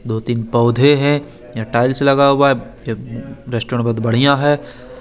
दो तिन पोधे है यहा टाइल्स लगा हुआ है जब रेस्ट्रों बहोत बड़िया है।